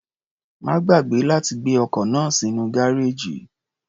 Má gbàgbé láti gbé ọkọ̀ náà sínú gárèjì.